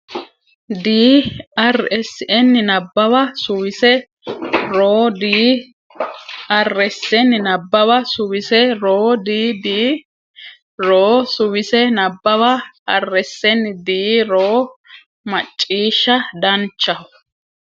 dii Rsn Nabbawa Suwise ro dii Rsn Nabbawa Suwise ro dii dii ro Suwise Nabbawa Rsn Dii ro Macciishsha Danchaho !